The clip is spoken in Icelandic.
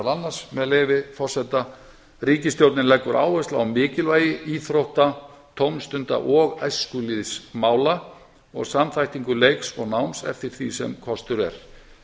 annars með leyfi forseta ríkisstjórnin leggur áherslu á mikilvægi íþrótta tómstunda og æskulýðsmála og samþættingu leiks og náms eftir því sem kostur er